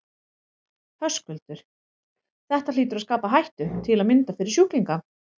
Höskuldur: Þetta hlýtur að skapa hættu til að mynda fyrir sjúklinga?